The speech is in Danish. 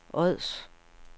Ods